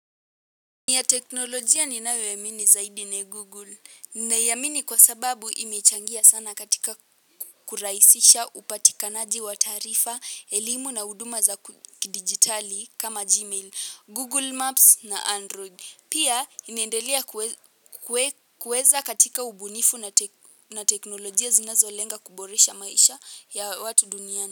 Ni ya teknolojia ninayoiamini zaidi ni google. Naiamini kwa sababu imechangia sana katika kurahisisha upatikanaji wa taarifa, elimu na huduma za kidigitali kama gmail, google maps na android. Pia inaendelea kuweza katika ubunifu na teknolojia zinazo lenga kuboresha maisha ya watu duniani.